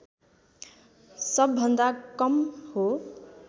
सबभन्दा कम हो